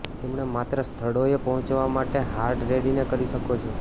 તેમણે માત્ર સ્થળોએ પહોંચવા માટે હાર્ડ રેડીને કરી શકો છો